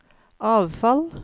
avfall